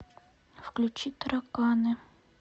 включи тараканы